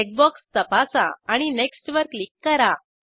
check box तपासा आणि next वर क्लिक करा